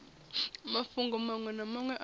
mafhungo maṅwe na maṅwe a